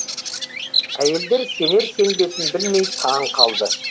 әйелдер сенер сенбесін білмей таң қалды